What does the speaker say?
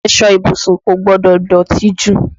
Aṣọ ìbùsùn kò gbọdọ̀ dọ̀tí jù